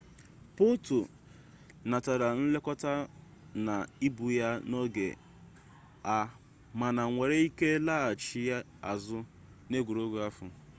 potro natara nlekota na ubu ya n'oge a mana were ike laghachi azu n'egwuregwu ahu